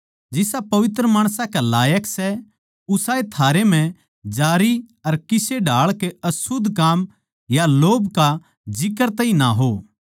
जिसा पवित्र माणसां कै लायक सै उसाए थारै म्ह जारी अर किसे ढाळ के अशुध्द काम या लोभ का जिक्र तैई ना हो